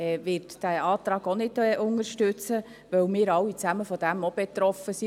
Die BDP wird diesen Antrag auch nicht unterstützen, weil wir alle davon auch betroffen sind.